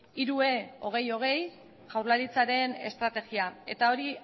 hiru hiru e hogei hogei jaurlaritzaren estrategia eta hori